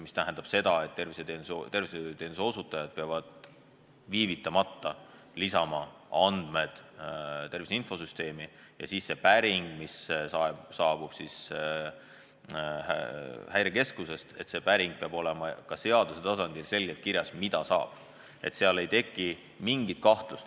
See tähendaks seda, et tervishoiuteenuse osutajad peavad viivitamata lisama andmed tervise infosüsteemi ja see päring, mis saabub Häirekeskusest, selle kohta peab olema ka seaduse tasandil selgelt kirjas, mida saab küsida.